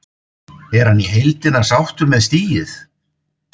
Er hann í heildina sáttur með stigið?